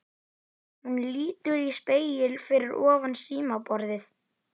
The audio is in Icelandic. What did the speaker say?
Hún lítur í spegil fyrir ofan símaborðið.